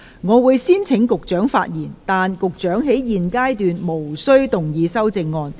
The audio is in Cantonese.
我會先請局長發言，但他在現階段無須動議修正案。